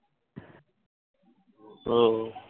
হুম